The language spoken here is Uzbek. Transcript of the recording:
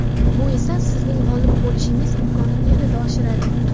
Bu esa sizning g‘olib bo‘lishingiz imkonini yanada oshiradi.